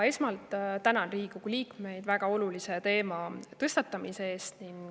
Esmalt tänan Riigikogu liikmeid väga olulise teema tõstatamise eest.